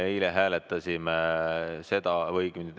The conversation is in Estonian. Aitäh!